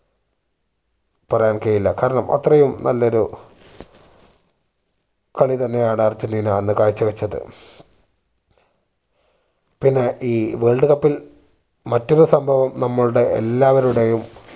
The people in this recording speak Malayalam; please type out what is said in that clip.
പറയാൻ കയ്യില്ലാ കാരണം അത്രയും നല്ലൊരു കളി തന്നെ ആണ് അർജന്റീന അന്ന് കാഴ്ച വച്ചത് പിന്നെ ഈ world cup ൽ മറ്റൊരു സംഭവം നമ്മളുടെ എല്ലാവരുടെയും